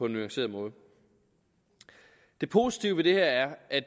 nuanceret måde det positive ved det her er at